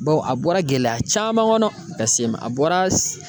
Bawo a bɔra gɛlɛya caman kɔnɔ ka se a bɔra